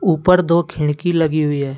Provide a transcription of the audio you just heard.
ऊपर दो खिड़की लगी हुई है।